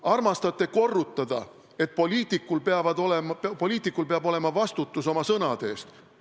Armastate korrutada, et poliitikul peab olema vastutus oma sõnade eest.